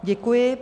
Děkuji.